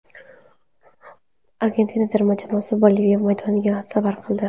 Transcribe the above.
Argentina terma jamoasi Boliviya maydoniga safar qildi.